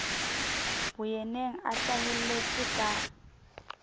le boyeneng a hlaheletse ka